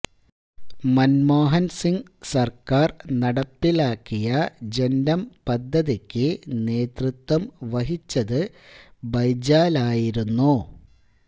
മൻമോഹൻ സിങ് സർക്കാർ നടപ്പിലാക്കിയ ജന്റം പദ്ധതിക്ക് നേതൃത്വം വഹിച്ചത് ബൈജാലായിരുന്നു